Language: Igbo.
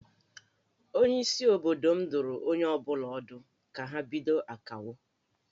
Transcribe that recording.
Onyeisi obodo m dụrụ onye ọ bụla ọdụ ka ha bido Akawo